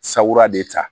Sabura de ta